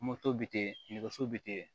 bi ten nɛgɛso bite